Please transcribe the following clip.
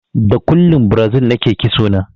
Da kullun Brazil nake ƙitso na